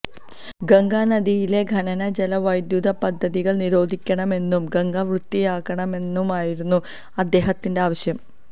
ഗംഗാ നദിയിലെ ഖനന ജല വൈദ്യുത പദ്ധതികള് നിരോധിണമെന്നും ഗംഗ വൃത്തിയാക്കണമെന്നുമായിരുന്നു അദ്ദേഹത്തിന്റെ ആവശ്യം